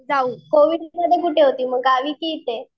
जाऊ कोविडमध्ये कुठे होती? गावी की इथे?